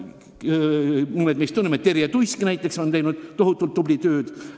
Eestvedaja Terje Tuisk on teinud tohutult tubli tööd.